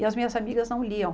E as minhas amigas não liam.